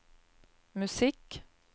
musikk